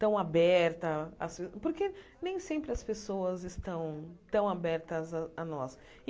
tão aberta as, porque nem sempre as pessoas estão tão abertas a a nós.